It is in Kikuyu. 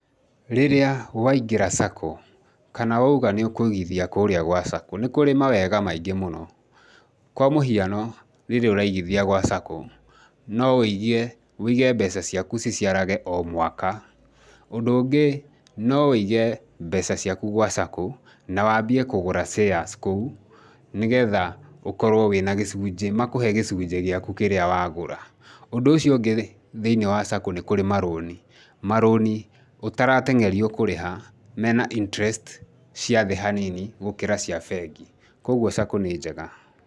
Rĩrĩa waingĩra Sacco kana wauga nĩ ũkũigithia kũrĩa gwa Sacco, nĩ kũrĩ mawega maingĩ mũno. Kwa mũhiano, rĩrĩa ũraigithia gwa Sacco, no wũigie wũige mbeca ciaku ciciarage o mwaka. Ũndũ ũngĩ no wũige mbeca ciakũ gwa Sacco na waambie kũgũra shares kũu, nĩgetha ũkorwo wĩna gĩcunjĩ, makũhe gĩcunjĩ gĩaku kĩrĩa wagũra. Ũndũ ũcio ũngĩ rĩ, thĩiniĩ wa Sacco nĩ kũrĩ marũni, marũni ũtarateng'erio kũrĩha, mena interest cia thĩ hanini gũkĩra cia bengi. Kwoguo, Sacco nĩ njega.